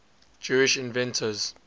jewish inventors